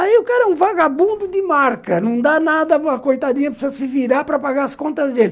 Aí o cara é um vagabundo de marca, não dá nada, a coitadinha precisa se virar para pagar as contas dele.